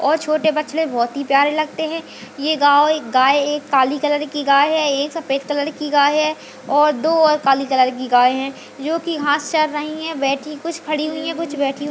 और छोटे बछड़े बहोत ही प्यारे लगते हैं ये गांव ये गाय एक काली कलर की गाय हैं एक सफेद कलर की गाय हैं और दो और काली कलर की गाय हैं जो की घास चर रही हैं बैठी कुछ खड़ी हुई हैं कुछ बैठी हुई --